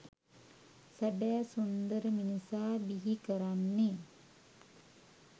සැබෑ සුන්දර මිනිසා බිහි කරන්නේ